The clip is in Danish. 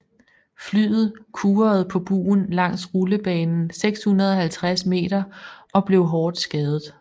Flyet kurede på bugen langs rullebanen 650 meter og blev hårdt skadet